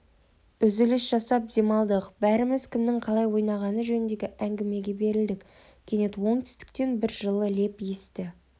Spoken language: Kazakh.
үзіліс жасап демалдық бәріміз кімнің қалай ойнағаны жөніндегі әңгімеге берілдік кенет оңтүстіктен бір жылы леп есті